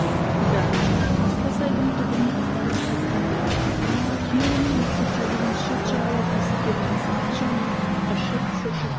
да қасқасайдың түбіне апарып қайтқан еді күйеуінің осы кәдігін шет жағалап есіткен масаты жаны ыршып шошып